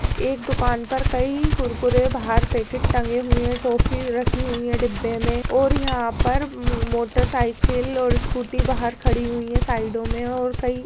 एक दुकान पर कई कुरकुरे बाहर पैकेट टंगे हुए है टॉफ़ी रखी हुई है डिब्बे में और यहाँ पर मोटर साइकिल और स्कूटी बाहर खड़ी हुई है साइडो में और कई --